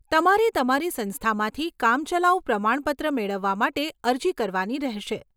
તમારે તમારી સંસ્થામાંથી કામચલાઉ પ્રમાણપત્ર મેળવવા માટે અરજી કરવાની રહેશે.